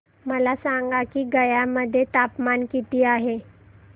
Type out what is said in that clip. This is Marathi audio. मला सांगा की गया मध्ये तापमान किती आहे